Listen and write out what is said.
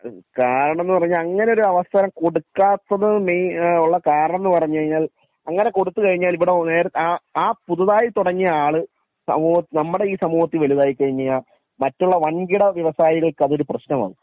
കാരണം എന്ന് പറഞ്ഞു കഴിഞ്ഞാൽ അങ്ങിനെ ഒരു അവസ്ഥ കൊടുക്കാത്തത് ഉള്ള കാരണംന്ന് പറഞ്ഞുകഴിഞ്ഞാൽ അങ്ങിനെ കൊടുത്തു കഴിഞ്ഞാൽ ഇവിടെ നേരെ അഹ് ആ പുതുതായി തുടങ്ങിയ ആള് സമു നമ്മുടെ ഈ സമൂഹത്തിൽ വലുതായി കഴിഞ്ഞാൽ മറ്റുള്ള വൻകിട വ്യവസായികൾക്ക് അതൊരു പ്രശ്നം ആക്കും